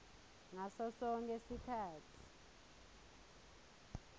ngaso sonkhe sikhatsi